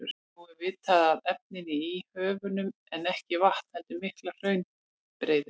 Nú er vitað að efnið í höfunum er ekki vatn heldur miklar hraunbreiður.